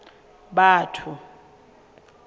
batho